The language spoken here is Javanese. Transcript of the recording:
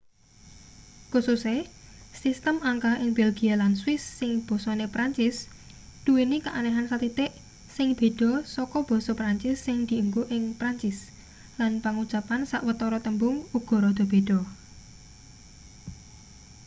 kususe sistem angka ing belgia lan swiss sing basane prancis duweni keanehan sathithik sing beda saka basa prancis sing dienggo ing prancis lan pangucapan sawetara tembung uga rada beda